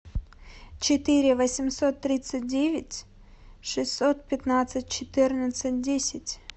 четыре восемьсот тридцать девять шестьсот пятнадцать четырнадцать десять